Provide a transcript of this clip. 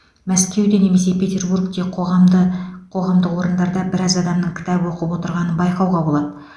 мәскеуде немесе петербургте қағамды қоғамдық орындарда біраз адамның кітап оқып отырғанын байқауға болады